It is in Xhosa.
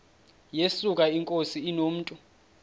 yesuka inkosi inomntu